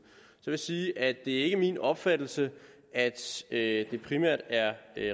så vil jeg sige at det ikke er min opfattelse at det primært er